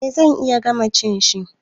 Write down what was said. Eh zan iya gama cin shi.